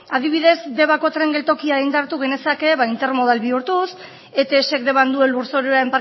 adibidez debako tren geltokia indartu genezake ba intermodal bihurtuz etsk deban duen